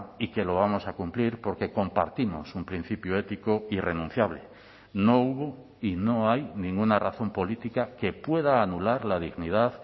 y que lo vamos a cumplir porque compartimos un principio ético irrenunciable no hubo y no hay ninguna razón política que pueda anular la dignidad